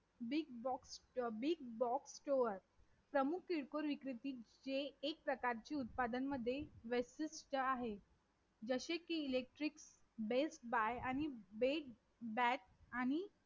big box store प्रमुख किरकोळ विक्रते जे एक प्रकारचे उत्पादन मध्ये restes आहे जसे कि electric base by आणि